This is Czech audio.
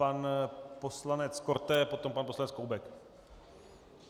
Pan poslanec Korte, potom pan poslanec Koubek.